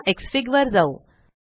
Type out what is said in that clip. चला वर एक्सफीग जाऊ